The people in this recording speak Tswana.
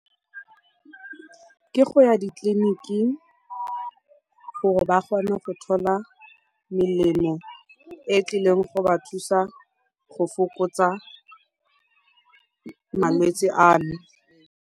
Ke go ya ditleliniking gore ba kgone go thola melemo e e tlileng go ba thusa go fokotsa malwetsi ano.